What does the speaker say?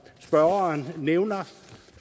spørgeren nævner